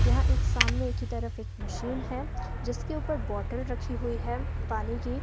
यह एक सामने की तरफ एक मशीन है जिसके ऊपर बोटल रखी हुई है पानी की।